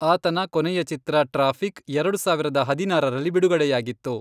ಆತನ ಕೊನೆಯ ಚಿತ್ರ ,ಟ್ರಾಫಿಕ್, ಎರಡು ಸಾವಿರದ ಹದಿನಾರರಲ್ಲಿ ಬಿಡುಗಡೆಯಾಗಿತ್ತು.